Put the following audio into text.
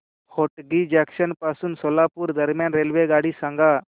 Hotgi junction पासून सोलापूर दरम्यान रेल्वेगाडी सांगा